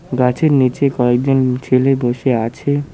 গাছের নিচে কয়েকজন ছেলে বসে আছে।